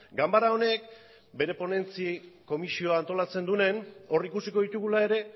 ganbara honek bere ponentzi komisioa antolatzen duenean hor ikusiko ditugula ere